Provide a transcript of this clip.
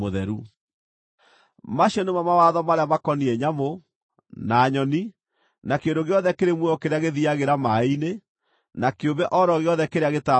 “ ‘Macio nĩmo mawatho marĩa makoniĩ nyamũ, na nyoni, na kĩndũ gĩothe kĩrĩ muoyo kĩrĩa gĩthiiagĩra maaĩ-inĩ, na kĩũmbe o ro gĩothe kĩrĩa gĩtambaga thĩ.